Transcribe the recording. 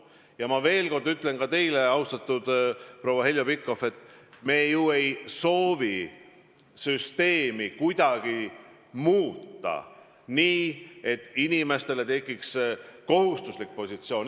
Ja ma veel kord ütlen ka teile, austatud proua Heljo Pikhof, et me ei soovi ju süsteemi kuidagi muuta nii, et inimestele tekiks kohustuslik positsioon.